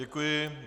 Děkuji.